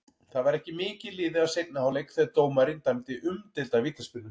Það var ekki mikið liðið af seinni hálfleik þegar dómarinn dæmdi umdeilda vítaspyrnu.